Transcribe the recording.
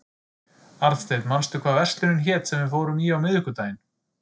Arnsteinn, manstu hvað verslunin hét sem við fórum í á miðvikudaginn?